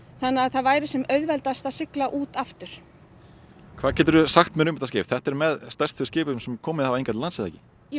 þannig að það væri sem auðveldast að sigla út aftur þetta er með stærstu skipum sem hafa komið hingað til lands jú